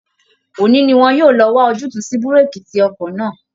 Òní ni wọn yóò lọ wá ojútùú sí búréèkì tí ọkọ̀ náà